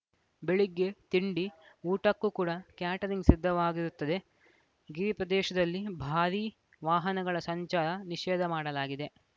ಬೆಳಿಗ್ಗೆ ತಿಂಡಿ ಊಟಕ್ಕೂ ಕೂಡ ಕ್ಯಾಟರಿಂಗ್‌ ಸಿದ್ದವಾಗಿರುತ್ತದೆ ಗಿರಿ ಪ್ರದೇಶದಲ್ಲಿ ಭಾರೀ ವಾಹನಗಳ ಸಂಚಾರ ನಿಷೇಧ ಮಾಡಲಾಗಿದೆ